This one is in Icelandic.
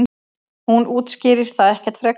Hún útskýrir það ekkert frekar.